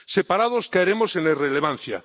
Separados caeremos en la irrelevancia.